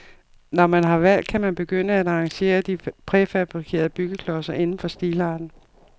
Når man har valgt, kan man begynde at arrangere de præfabrikerede byggeklodser inden for stilarten.